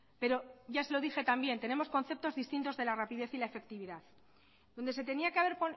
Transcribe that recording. pero ya se lo dije también que tenemos conceptos distintos de la rapidez y la efectividad donde se tenía que haber